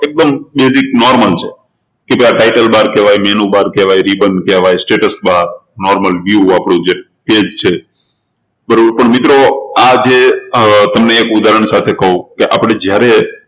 એકદમ basicnormal છે કે title bar કહેવાય આ menu bar કહેવાય ribbon કહેવાય. status barnormal view આપણું જે page છે બરોબર પણ મિત્રો આ જે તમને ઉદાહરણ સાથે કહું કે આપણે જયારે